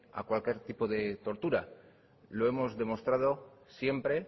a cualquier tipo de tortura lo hemos demostrado siempre